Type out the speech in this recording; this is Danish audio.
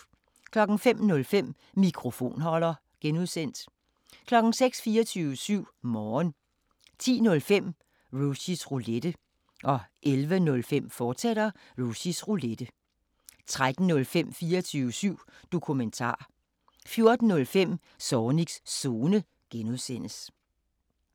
05:05: Mikrofonholder (G) 06:00: 24syv Morgen 10:05: Rushys Roulette 11:05: Rushys Roulette, fortsat 13:05: 24syv Dokumentar 14:05: Zornigs Zone (G)